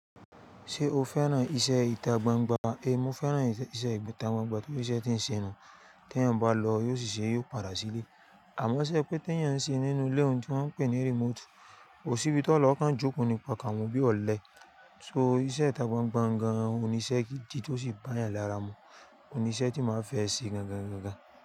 Ṣé o fẹ́ràn iṣẹ́ ìta gbangba? É, mo fẹ́ràn iṣẹ́ ìta gbangba torí iṣẹ́ tí ń ṣe nu tí ẹ̀eyan bá lọ yóò ṣì ṣe yóò padà sílé. Àmọ́ ṣé pé ke eeyan ń ṣe nínú ilé ohun tí wọ́n ń pè ní remote, kò sí ibi tó hun lo o kan jókò ni okan wo bí ọ̀lẹ. So iṣẹ́ ìta gbangba gan-an ò níṣẹ́ gidi tó sì bá yàn lára mu. Ohun ní iṣẹ́ tí máa fẹ́ ṣe gan-an gan-an gan-an.